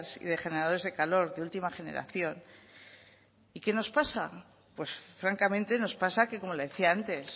y de generadores de calor de última generación y qué nos pasa pues francamente nos pasa que como le decía antes